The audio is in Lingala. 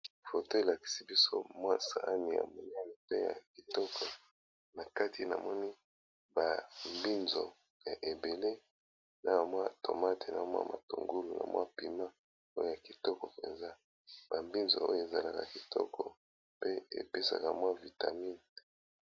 foto elakisi biso mwa saane ya monialite ya kitoko na kati na moni bambinzo ya ebele na mwa tomate na mwa matongulu na mwa pima oyo ya kitoko mpenza bambinzo oyo ezalaka kitoko pe epesaka mwa vitamine